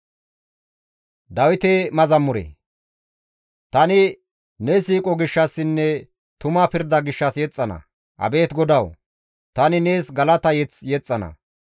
Tani ne siiqo gishshassinne tuma pirda gishshas yexxana; abeet GODAWU! Tani nees galata mazamure yexxana.